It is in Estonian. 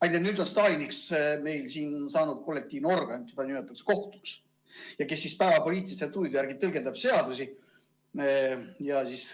Aga nüüd on Staliniks saanud kollektiivne organ, keda nimetatakse kohtuks ja kes päevapoliitiliste tujude järgi seadusi tõlgendab.